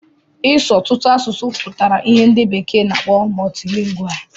Ị su ọtụtụ asụsụ pụtara ìhè ndị bekee na-akpọ multilingual.